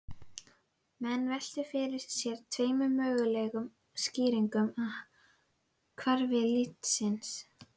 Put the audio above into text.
Menn veltu fyrir sér tveimur mögulegum skýringum á hvarfi litnisins.